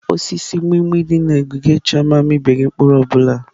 Osisi mgbimgbi dị na ogige Chioma amịbeghị mkpụrụ ọ bụla.